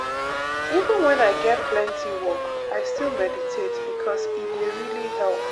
even when i get plenty work i still meditate because e dey really help.